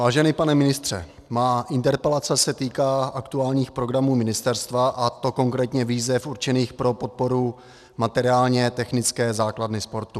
Vážený pane ministře, moje interpelace se týká aktuálních programů ministerstva, a to konkrétně výzev určených pro podporu materiálně technické základny sportu.